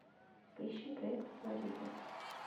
поищи проект флорида